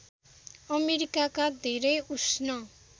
अमेरिकाका धेरै उष्ण